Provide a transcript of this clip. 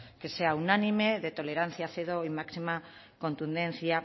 que sea unánime de tolerancia cero y máxima contundencia